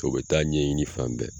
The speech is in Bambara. O bɛ taa ɲɛɲini fan bɛɛ.